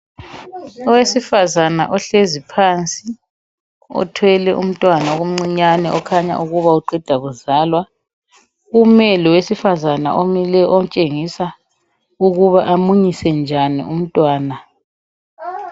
Owesifazana ohlezi phansi othwele umntwana omcinyane okhanya ukuba uqeda kuzwala, ume lowesifazana omileyo otshengisa ukuba amunyise njani umntwana.